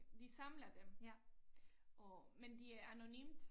De samler dem og men det er anonymt